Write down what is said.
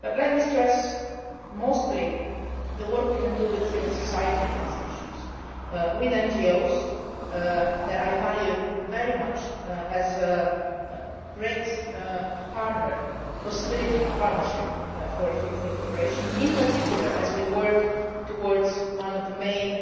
But let me stress mostly the work we can do with civil society organisations, with NGOs, which I value very much as a great possibility for partnership for fruitful cooperation, in particular as we work towards one of the main